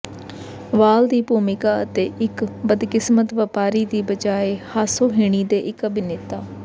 ਵਾਲ ਦੀ ਭੂਮਿਕਾ ਅਤੇ ਇੱਕ ਬਦਕਿਸਮਤ ਵਪਾਰੀ ਦੀ ਬਜਾਏ ਹਾਸੋਹੀਣੀ ਦੇ ਇੱਕ ਅਭਿਨੇਤਾ